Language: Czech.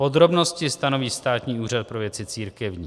Podrobnosti stanoví Státní úřad pro věci církevní.